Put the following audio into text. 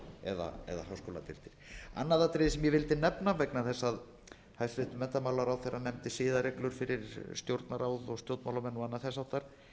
eða háskóladeildir annað atriði sem ég vildi nefna vegna þess að hæstvirtur menntamálaráðherra nefndi siðareglur fyrir stjórnarráð og stjórnmálamenn og annað þess háttar